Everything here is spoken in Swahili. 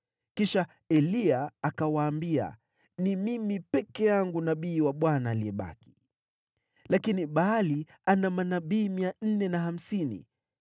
Kisha Eliya akawaambia, “Ni mimi peke yangu nabii wa Bwana aliyebaki, lakini Baali ana manabii mia nne na hamsini.